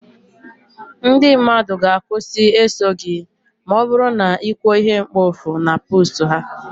ndị mmadụ ga- akwusi eso gị ma ọ bụrụ na ị kwuo ihe mkpofu na post ha